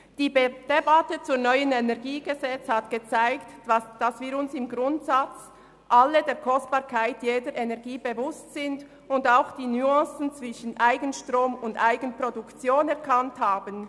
Die Debatte um das neue Kantonale Energiegesetz (KEnG) hat gezeigt, dass wir uns im Grundsatz alle der Kostbarkeit jeder Energie bewusst sind und auch die Nuancen zwischen Eigenstrom und -produktion erkannt haben.